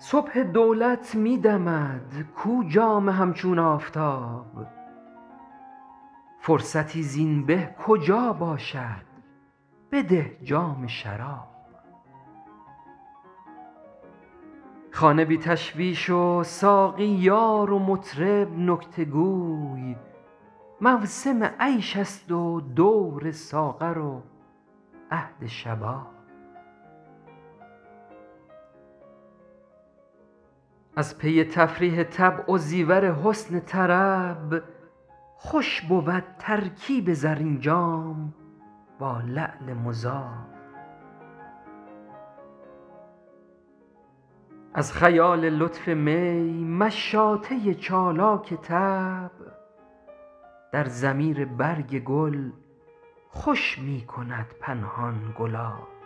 صبح دولت می دمد کو جام همچون آفتاب فرصتی زین به کجا باشد بده جام شراب خانه بی تشویش و ساقی یار و مطرب نکته گوی موسم عیش است و دور ساغر و عهد شباب از پی تفریح طبع و زیور حسن طرب خوش بود ترکیب زرین جام با لعل مذاب از خیال لطف می مشاطه چالاک طبع در ضمیر برگ گل خوش می کند پنهان گلاب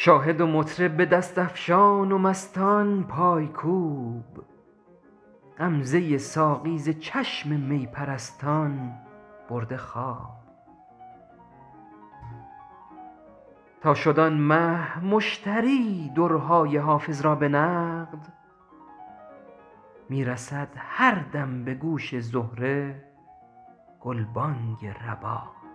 شاهد و مطرب به دست افشان و مستان پایکوب غمزه ساقی ز چشم می پرستان برده خواب تا شد آن مه مشتری درهای حافظ را به نقد می رسد هر دم به گوش زهره گلبانگ رباب